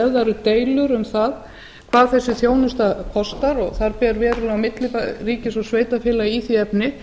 ef það eru deilur um það hvað þessi þjónusta kostar og þar ber verulega á milli ríkis og sveitarfélaga í því efni